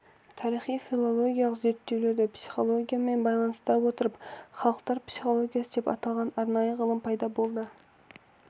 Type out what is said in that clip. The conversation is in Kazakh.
тарихи-филологиялық зерттеулерді психологиямен байланыстыра отырып халықтар психологиясы деп аталған арнайы ғылым пайда болды